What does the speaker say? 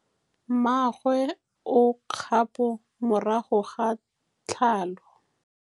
Mmagwe o kgapô morago ga tlhalô.